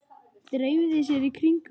Dreifi sér í kringum hann.